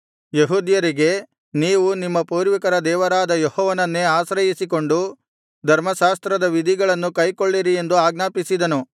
ಯೆಹೂದ್ಯರಿಗೆ ನೀವು ನಿಮ್ಮ ಪೂರ್ವಿಕರ ದೇವರಾದ ಯೆಹೋವನನ್ನೇ ಆಶ್ರಯಿಸಿಕೊಂಡು ಧರ್ಮಶಾಸ್ತ್ರದ ವಿಧಿಗಳನ್ನು ಕೈಕೊಳ್ಳಿರಿ ಎಂದು ಆಜ್ಞಾಪಿಸಿದನು